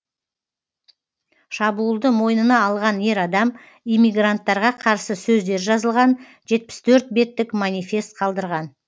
шабуылды мойнына алған ер адам иммигранттарға қарсы сөздер жазылған жетпіс төртбеттік манифест қалдырған